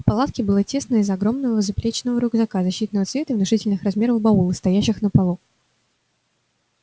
в палатке было тесно из-за огромного заплечного рюкзака защитного цвета и внушительных размеров баула стоящих на полу